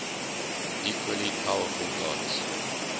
equally powerful gods